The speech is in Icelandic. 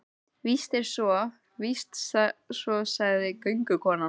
Víst er svo, víst er svo, sagði göngukonan.